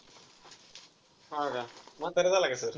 हा का? म्हातारा झालाय का sir?